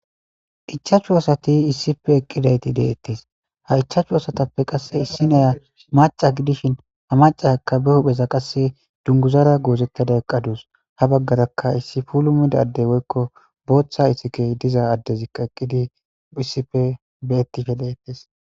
ichaachchu asati issife eqqidayti deettes ha ichaachchu asatappe qasse issi neya maca gidishin ha macaakka be hupheza qasse dunguzara goozettada eqqadus ha baggarakka issi pulu midadey woykko booththa itikey diza addezikka eqqidi hissife be ettife leettes